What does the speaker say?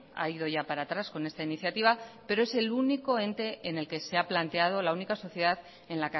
ha ido ya para atrás pero es el único ente en el que